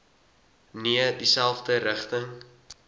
nee dieselfde rigting